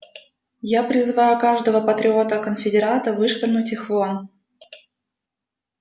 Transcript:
я призываю каждого патриота-конфедерата вышвырнуть их вон